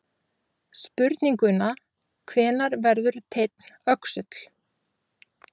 Spurninguna Hvenær verður teinn öxull?